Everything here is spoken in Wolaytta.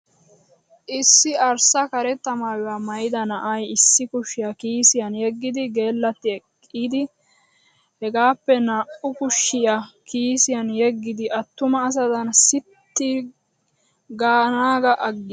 Issi arssa karetta maayuwaa maayida na'ay issi kushiya kiisiyan yeggidi gellatti eqqidi. Hegaappe naa"u kushiya kiisiyan yeggidi attuma asadan sitting gaanaagaa aggis.